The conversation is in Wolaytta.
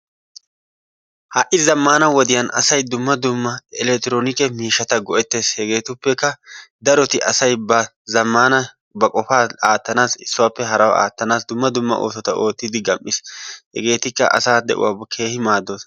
Ha'i zammana wodiyan asay dumma dumma elekktronikke miishshaata go'ettees. Hegetuppekka daroti asay ba zammana ba qofaa aattna issi sohuwappe harawu attanaassi duma dumma oosota oottidi gam'iis. Hegeetikka asaa de'uwawu Keehi maaddoosona.